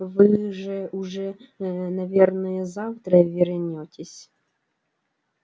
вы же уже ээ наверное завтра вернётесь